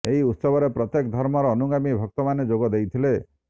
ଏହି ଉତ୍ସବରେ ପ୍ରତ୍ୟେକ ଧର୍ମର ଅନୁଗାମୀ ଭକ୍ତମାନେ ଯୋଗ ଦେଇଥିଲେ